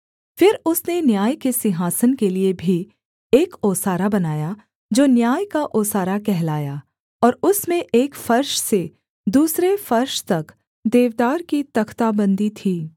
फिर उसने न्याय के सिंहासन के लिये भी एक ओसारा बनाया जो न्याय का ओसारा कहलाया और उसमें एक फर्श से दूसरे फर्श तक देवदार की तख्ताबंदी थी